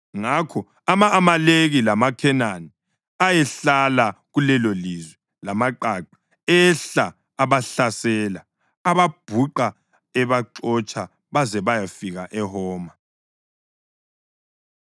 Ngakho ama-Amaleki lamaKhenani ayehlala kulelolizwe lamaqaqa ehla abahlasela, ababhuqa ebaxotsha baze bayafika eHoma.